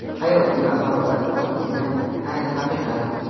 hayotiylik va harorat olib kirgani ayni haqiqat.